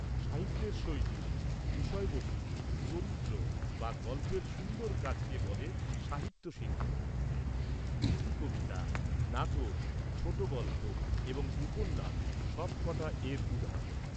-সাহিত্যের শৈলী, বিষয়বস্তু, চরিত্র বা গল্পের সুন্দর কাজকে বলে সাহিত্য শিল্প। গীতিকবিতা, নাটক, ছোট গল্প এবং উপন্যাস সবকটা এর উদাহরণ।